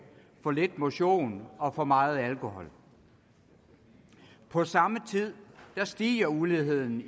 for lidt motion og for meget alkohol på samme tid stiger uligheden